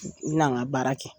U l'an ka baara kɛ